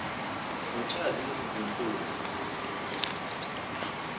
ngotshazimpunzi